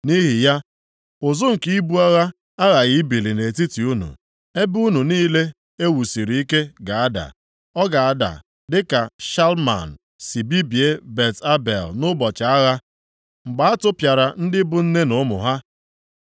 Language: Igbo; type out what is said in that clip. Nʼihi ya, ụzụ nke ibu agha aghaghị ibili nʼetiti unu, ebe unu niile e wusiri ike ga-ada. Ọ ga-ada dịka Shalman si bibie Bet Abel nʼụbọchị agha, mgbe a tụpịara ndị bụ nne na ụmụ ha.